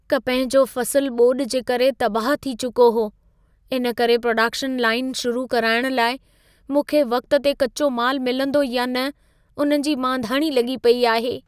कपह जो फ़सुलु ॿोॾि जे करे तबाहु थी चुको हो, इनकरे प्रोडक्शन लाइन शुरू कराइण लाइ मूंखे वक़्त ते कच्चो मालु मिलंदो या न उन जी मांधाणी लॻी पेई आहे।